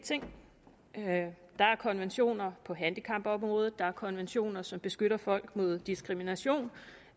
ting der er konventioner på handicapområdet der er konventioner som beskytter folk mod diskrimination